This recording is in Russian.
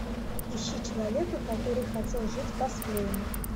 ищи человека который хотел жить по своему